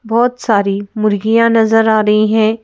बहुत सारी मुर्गियां नजर आ रही हैं।